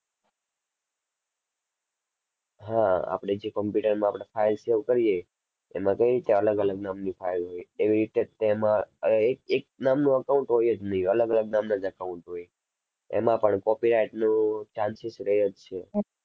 હા આપણે જે computer માં આપણે file save કરીએ એમાં કઈ રીતે અલગ અલગ નામની file હોય એવી રીતે જ તેમાં અર એક એક નામનું account હોય જ નહીં અલગ અલગ નામના જ account હોય. એમાં પણ copyright નું chances રહે જ છે.